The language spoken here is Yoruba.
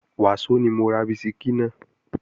Wàsó ni mo ra bisikí náà